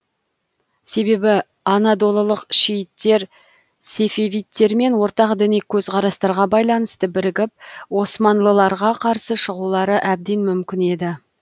себебі анадолылық шииттер сефевидтермен ортақ діни көзқарастарға байланысты бірігіп османлыларға қарсы шығулары әбден мүмкін еді